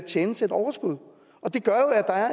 tjenes et overskud det gør